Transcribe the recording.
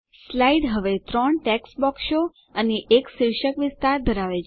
slide હવે ત્રણ text બોક્સો અને એક શીર્ષક વિસ્તાર ધરાવે છે